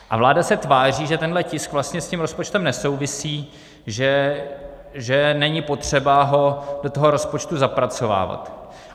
A vláda se tváří, že tenhle tisk vlastně s tím rozpočtem nesouvisí, že není potřeba ho do toho rozpočtu zapracovávat.